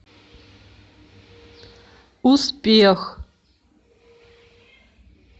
успех